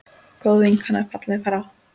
Góð vinkona er fallin frá.